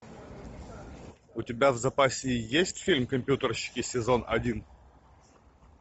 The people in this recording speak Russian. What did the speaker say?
у тебя в запасе есть фильм компьютерщики сезон один